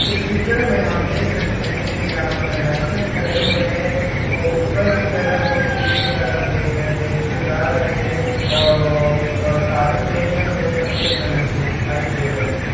इस चित्र मे हम देख सकते है की यहाँ पर नर्सेस खड़े हुए है वो ऊपर की तरफ और नीचे की तरफ देखे देखे जा रहे है और वो साड़ी पहने हुए सफ़ेद कलर की दिखाई दे रहे है।